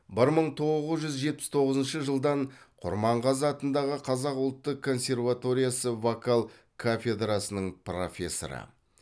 бір мың тоғыз жүз жетпіс тоғызыншы жылдан құрманғазы атындағы қазақ ұлттық консерваториясы вокал кафедрасының профессоры